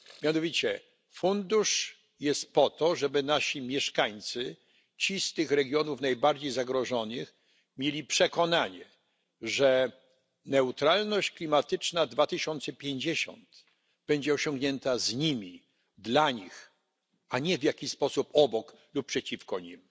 Mianowicie fundusz jest po to, żeby nasi mieszkańcy, ci z tych regionów najbardziej zagrożonych, mieli przekonanie, że neutralność klimatyczna 2050 będzie osiągnięta z nimi, dla nich, a nie w jakiś sposób obok nich lub przeciwko nim.